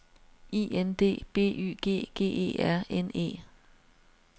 I N D B Y G G E R N E